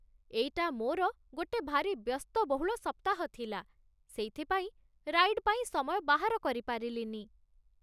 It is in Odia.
ଏଇଟା ମୋର ଗୋଟେ ଭାରି ବ୍ୟସ୍ତବହୁଳ ସପ୍ତାହ ଥିଲା, ସେଇଥିପାଇଁ ରାଇଡ୍ ପାଇଁ ସମୟ ବାହାର କରିପାରିଲିନି ।